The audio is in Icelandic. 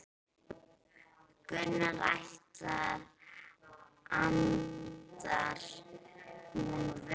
Gunnar Atli: Endar hún vel?